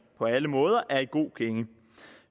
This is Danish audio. på alle måder er i god gænge